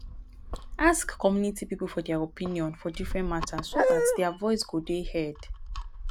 ask community pipo for their opinion for different matters so dat their voice go dey heard